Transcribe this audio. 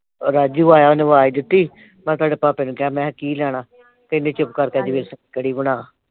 ਰਾਜੂ ਆਇਆ ਉਹਨੇ ਅਵਾਜ਼ ਦਿੱਤੀ, ਮੈਂ ਸਾਡੇ ਭਾਪੇ ਨੂੰ ਕਿਹਾ, ਮੈਂ ਕਿਹਾ ਕੀ ਲੈਣਾ। ਕਹਿੰਦੇ ਚੁੱਪ ਕਰਕੇ ਅੱਜ ਵੇਸਣ ਦੀ ਕੜੀ ਬਣਾ।